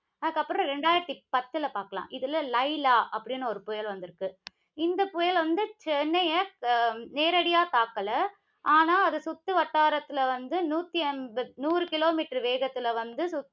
அதுக்கப்புறம், இரண்டாயிரத்தி பத்துல பார்க்கலாம். இதுல லைலா அப்படின்னு ஒரு புயல் வந்திருக்கு. இந்த புயல் வந்து, சென்னையை அஹ் நேரடியா தாக்கல. ஆனா அது சுற்றுவட்டாரத்தில வந்து நூத்தி அம்ப~ நூறு kilometer வேகத்தில வந்து